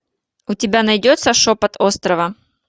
у тебя найдется шепот острова